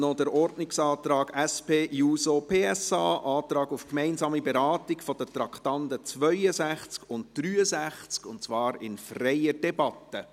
Noch zum Ordnungsantrag SP-JUSO-PSA auf gemeinsame Beratung der Traktanden 62 und 63, und zwar in freier Debatte.